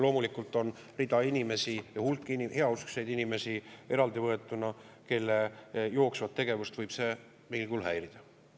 Loomulikult on inimesi, hulk heauskseid inimesi eraldivõetuna, kelle jooksvat tegevust võib see mingil kujul häirida.